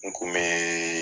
N Kun bee